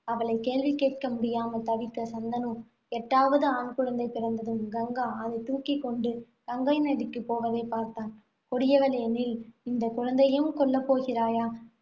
அவளைக் கேள்வி கேட்க முடியாமல் தவித்த சந்தனு, எட்டாவது ஆண்குழந்தை பிறந்ததும் கங்கா அதைத் தூக்கிக் கொண்டு கங்கை நதிக்கு போவதைப் பார்த்தான். கொடியவளே நில். இந்த குழந்தையையும் கொல்லப் போகிறாயா